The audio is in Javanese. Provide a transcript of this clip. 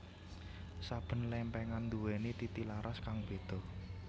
Saben lèmpèngan nduwèni titilaras kang béda